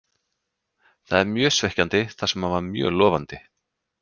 Það er mjög svekkjandi þar sem hann var mjög lofandi.